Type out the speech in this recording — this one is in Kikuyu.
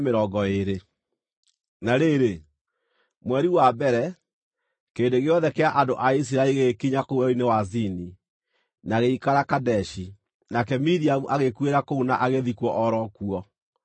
Na rĩrĩ, mweri wa mbere, kĩrĩndĩ gĩothe kĩa andũ a Isiraeli gĩgĩkinya kũu Werũ-inĩ wa Zini, na gĩgĩikara Kadeshi. Nake Miriamu agĩkuĩra kũu na agĩthikwo o ro kuo.